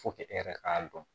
e yɛrɛ k'a dɔn